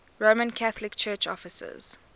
roman catholic church offices